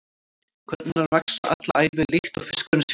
Kvarnirnar vaxa alla ævi líkt og fiskurinn sjálfur.